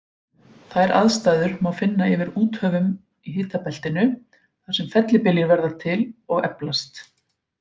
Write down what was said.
Þær aðstæður má finna yfir úthöfum í hitabeltinu, þar sem fellibyljir verða til og eflast.